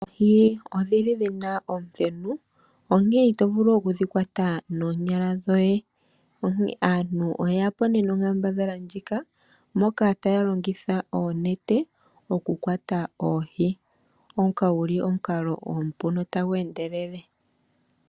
Oohi odhili dhina omuthenu onkene ito vulu okudhi kwata noonyala dhoye onkee aantu oye yapo nee nonkambadhala ndjika moka taya longitha oonete oku kwata oohi, ngoka guli omukalo omupu notagu endelele.